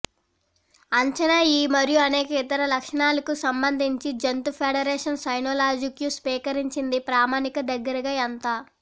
అంచనా ఈ మరియు అనేక ఇతర లక్షణాలకు సంబంధించి జంతు ఫెడరేషన్ సైనోలాజిక్యూ స్వీకరించింది ప్రామాణిక దగ్గరగా ఎంత